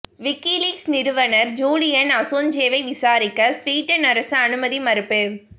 WikiLeaks நிறுவனர் Julian அசாஞ்சேவை விசாரிக்க சுவீடன் அரசு அனுமதி மறுப்பு